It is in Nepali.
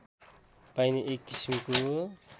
पाइने एक किसिमको